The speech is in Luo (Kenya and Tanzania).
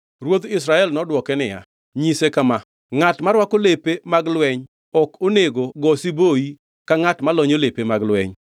Ruodh Israel nodwoke niya, “Nyise kama: ‘Ngʼat morwako lepe mag lweny ok onego go siboi ka ngʼat molonyo lepe mag lweny.’ ”